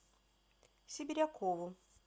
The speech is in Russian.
сибирякову